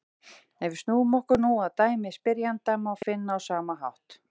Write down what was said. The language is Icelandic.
Ef við snúum okkur nú að dæmi spyrjanda má finna á sama hátt: